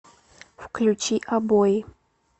включи обои